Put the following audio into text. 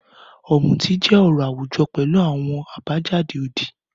Ọmuti jẹ ọrọ awujọ pẹlu awọn abajade odi.